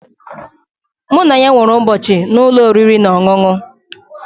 Mụ na ya nwere ụbọchị na ụlọ oriri na ọṅụṅụ